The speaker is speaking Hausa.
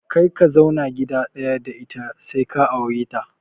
Kar ka zauna gida ɗaya da ita sai ka aure ta!